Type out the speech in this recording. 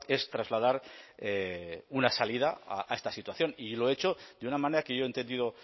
es trasladar una salida a esta situación y lo he hecho de una manera que yo he entendido